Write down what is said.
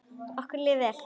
Okkur líður vel.